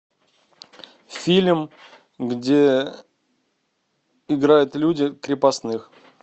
фильм где играют люди крепостных